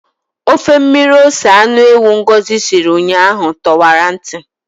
Ofe mmiri ose anụ ewu Ngosi siri ụnyaahụ tọwara ntị.